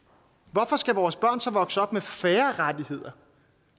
hvorfor skal vores børn så vokse op med færre rettigheder